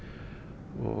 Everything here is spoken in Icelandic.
og